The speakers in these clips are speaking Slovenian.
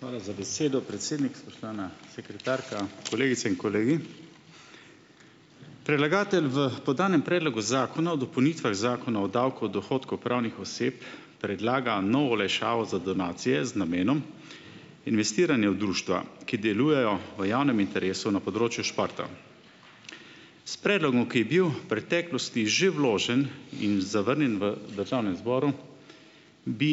Hvala za besedo, predsednik. Spoštovana sekretarka, kolegice in kolegi! Predlagatelj v podanem predlogu zakona o dopolnitvah zakona o davku od dohodkov pravnih oseb predlaga novo olajšavo za donacije z namenom investiranja v društva, ki delujejo v javnem interesu na področju športa. S predlogom, ki je bil preteklosti že vložen in zavrnjen v državnem zboru, bi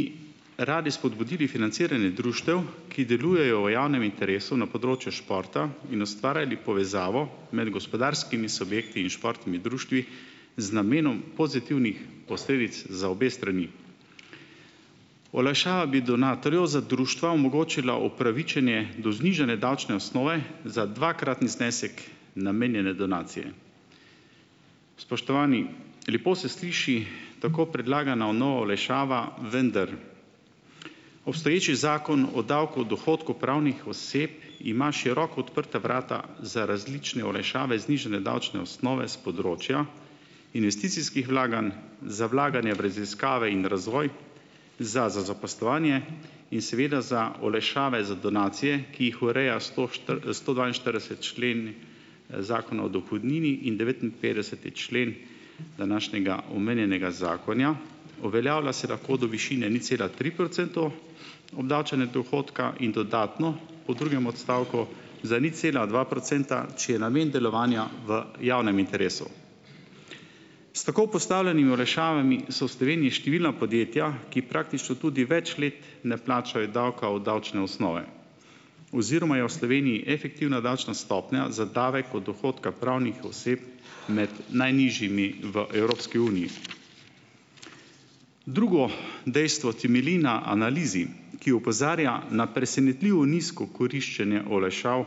radi spodbudili financiranje društev, ki delujejo v javnem interesu na področju športa in ustvarjali povezavo med gospodarskimi subjekti in športnimi društvi z namenom pozitivnih posledic za obe strani. Olajšava bi donatorju za društva omogočila upravičenje do znižane davčne osnove za dvakratni znesek namenjene donacije. Spoštovani! Lepo se sliši tako predlagana nova olajšava, vendar obstoječi zakon o davku od dohodkov pravnih oseb ima široko odprta vrata za različne olajšave, znižane davčne osnove s področja investicijskih vlaganj, za vlaganje v raziskave in razvoj, za zaposlovanje in seveda za olajšave za donacije, ki jih ureja sto štiri, stodvainštirideseti člen zakona o dohodnini in devetinpetdeseti člen današnjega omenjenega zakona. Uveljavlja se lahko do višine nič cela tri procentov, obdavčenje dohodka in dodatno po drugem odstavku za nič cela dva procenta, če je namen delovanja v javnem interesu. S tako postavljenimi olajšavami so v Sloveniji številna podjetja, ki praktično tudi več let ne plačajo davka od davčne osnove oziroma je v Sloveniji efektivna davčna stopnja za davek od dohodka pravnih oseb med najnižjimi v Evropski uniji. Drugo dejstvo temelji na analizi, ki opozarja na presenetljivo nizko koriščenje olajšav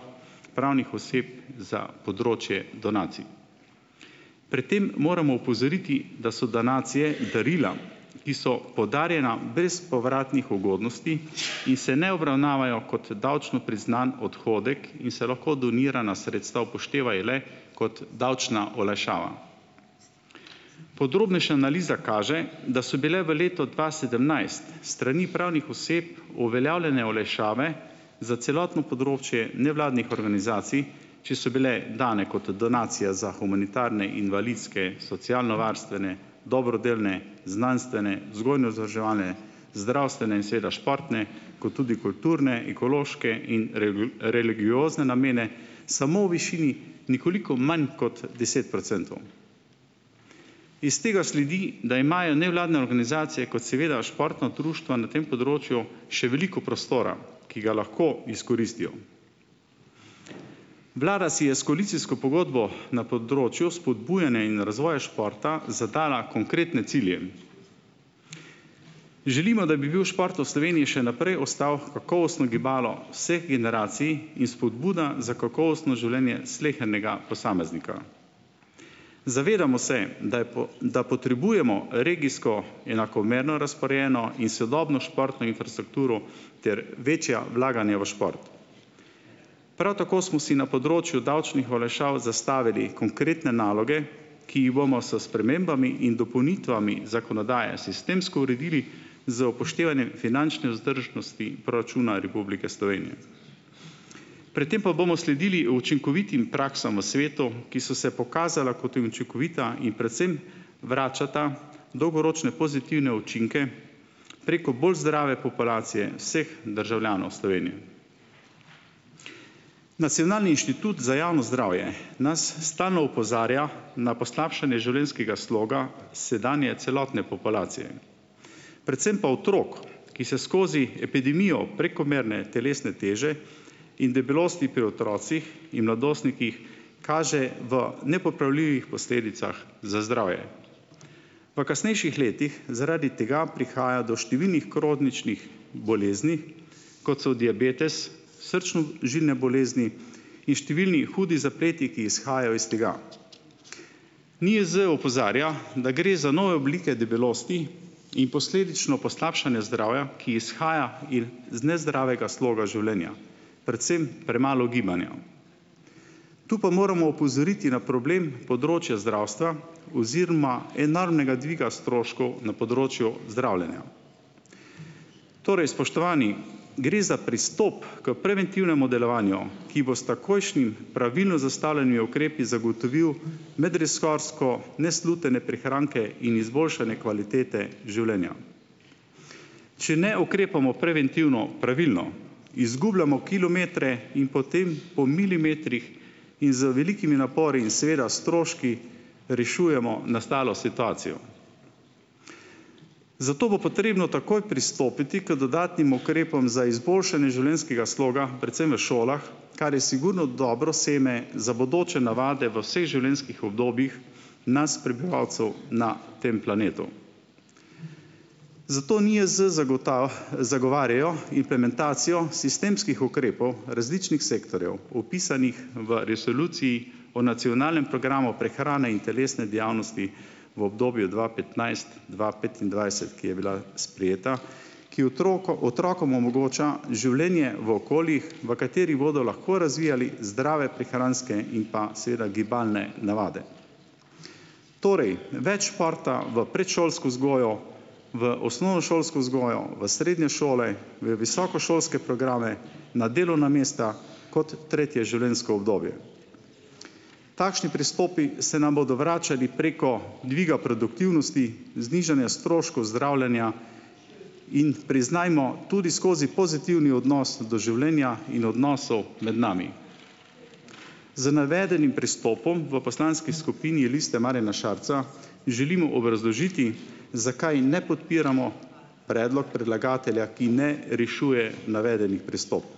pravnih oseb za področje donacij. Pred tem moramo opozoriti, da so donacije darila, ki so podarjena brez povratnih ugodnosti in se ne obravnavajo kot davčno priznani odhodek in se lahko donirana sredstva upoštevajo le kot davčna olajšava. Podrobnejša analiza kaže, da so bile v letu dva sedemnajst s strani pravnih oseb uveljavljene olajšave za celotno področje nevladnih organizacij, če so bile dane kot donacija za humanitarne invalidske, socialnovarstvene, dobrodelne, znanstvene, vzgojno-izobraževalne, zdravstvene in seveda športne kot tudi kulturne, ekološke in religiozne namene samo v višini nekoliko manj kot deset procentov. Iz tega sledi, da imajo nevladne organizacije kot seveda športna društva na tem področju še veliko prostora, ki ga lahko izkoristijo. Vlada si je s koalicijsko pogodbo na področju spodbujanja in razvoja športa zadala konkretne cilje. Želimo, da bi bil šport v Sloveniji še naprej ostal kakovostno gibalo vseh generacij in spodbuda za kakovostno življenje slehernega posameznika. Zavedamo se, da je, da potrebujemo regijsko enakomerno razporejeno in sodobno športno infrastrukturo ter večja vlaganja v šport. Prav tako smo si na področju davčnih olajšav zastavili konkretne naloge, ki jih bomo s spremembami in dopolnitvami zakonodaje sistemsko uredili z upoštevanjem finančne vzdržnosti proračuna Republike Slovenije, pred tem pa bomo sledili učinkovitim praksam v svetu, ki so se pokazala kot in učinkovita in predvsem vračata dolgoročne pozitivne učinke preko bolj zdrave populacije vseh državljanov Slovenije. Nacionalni inštitut za javno zdravje nas stalno opozarja na poslabšanje življenjskega sloga sedanje celotne populacije predvsem pa otrok, ki se skozi epidemijo prekomerne telesne teže in debelosti pri otrocih in mladostnikih kaže v nepopravljivih posledicah za zdravje. V kasnejših letih zaradi tega prihaja do številnih kroničnih bolezni, kot so diabetes, srčno-žilne bolezni in številni hudi zapleti, ki izhajajo iz tega. NIJZ opozarja, da gre za nove oblike debelosti in posledično poslabšanje zdravja, ki izhaja iz nezdravega sloga življenja, predvsem premalo gibanja. Tu pa moramo opozoriti na problem področja zdravstva oziroma enormnega dviga stroškov na področju zdravljenja. Torej, spoštovani, gre za pristop k preventivnemu delovanju, ki bo s takojšnjimi pravilno zastavljenimi ukrepi zagotovil medresorske neslutene prihranke in izboljšanje kvalitete življenja. Če ne ukrepamo preventivno pravilno, izgubljamo kilometre in potem po milimetrih in z velikimi napori in seveda stroški rešujemo nastalo situacijo. Zato bo potrebno takoj pristopiti k dodatnim ukrepom za izboljšanje življenjskega sloga, predvsem v šolah, kar je sigurno dobro seme za bodoče navade v vseh življenjskih obdobjih nas prebivalcev na tem planetu. Zato NIJZ zagovarjajo implementacijo sistemskih ukrepov različnih sektorjev vpisanih v Resoluciji v nacionalnem programu prehrane in telesne dejavnosti v obdobju dva petnajst -dva petindvajset, ki je bila sprejeta, ki otrokom omogoča življenje v okoljih v katerih bodo lahko razvijali zdrave prehranske in pa seveda gibalne navade. Torej več športa v predšolsko vzgojo, v osnovnošolsko vzgojo, v srednje šole, v visokošolske programe, na delovna mesta, kot tretje življenjsko obdobje. Takšni pristopi se nam bodo vračali preko dviga produktivnosti, znižanja stroškov zdravljenja, in priznajmo, tudi skozi pozitivni odnos do življenja in odnosov med nami. Z navedenim pristopom v poslanski skupini Liste Marjana Šarca želimo obrazložiti, zakaj ne podpiramo predlog predlagatelja, ki ne rešuje navedenih pristopov.